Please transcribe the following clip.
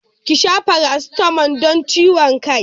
Ki sha paracetamol don ciwon kai.